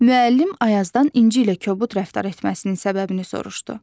Müəllim Ayazdan İnci ilə kobud rəftar etməsinin səbəbini soruşdu.